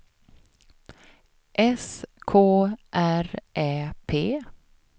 S K R Ä P